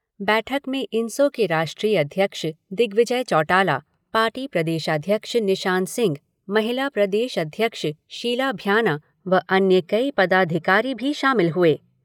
बैठक में इनसो के राष्ट्रीय अध्यक्ष दिग्विजय चौटाला, पार्टी प्रदेशाध्यक्ष निशान सिंह, महिला प्रदेश अध्यक्ष, शीला भ्याना व अन्य कई पदाधिकारी भी शामिल हुए।